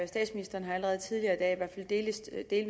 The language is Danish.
statsministeren har allerede tidligere i dag fald delvis